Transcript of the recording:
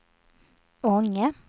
Ånge